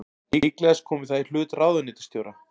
Líklegast komi það í hlut ráðuneytisstjóra